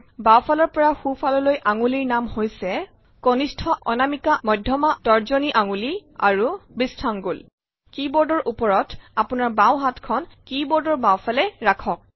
বাওঁফালৰ পৰা সোঁ ফাললৈ আঙুলিৰ নাম হৈছে কনিষ্ঠ আঙুলি অনামিকা আঙুলি মধ্যমা আঙুলি তৰ্জনী আঙুলি আৰু বৃষ্ঠাঙ্গুল কী বোৰ্ডৰ ওপৰত আপোনাৰ বাওঁ হাতখন কী বোৰ্ডৰ বাওঁফালে ৰাখক